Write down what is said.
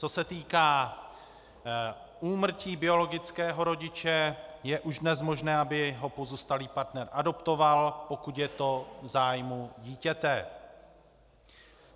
Co se týká úmrtí biologického rodiče, je už dnes možné, aby ho pozůstalý partner adoptoval, pokud je to v zájmu dítěte.